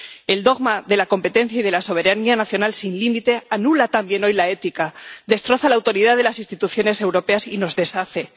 El dogma de la competencia y de la soberanía nacional sin límite anula, también hoy, la ética, destroza la autoridad de las instituciones europeas y nos deshace.